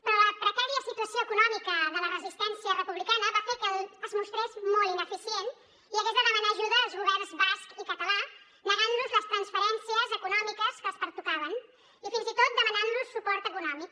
però la precària situació econòmica de la resistència republicana va fer que es mostrés molt ineficient i hagués de demanar ajuda als governs basc i català negant los les transferències econòmiques que els pertocaven i fins i tot demanant los suport econòmic